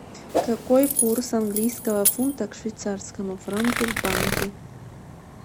какой курс английского фунта к швейцарскому франку в банке